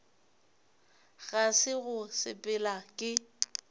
ga se go sepela ke